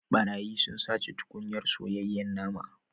Barayi sun sace tukunyar soyayyen naman